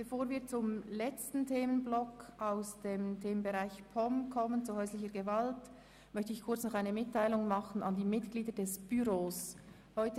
Bevor wir zum letzten Themenblock der POM, 8.e Häusliche Gewalt, kommen, möchte ich noch eine kurze Mitteilung an die Mitglieder des Büros machen.